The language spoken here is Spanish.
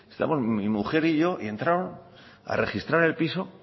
estábamos mi mujer y yo y entraron a registrar el piso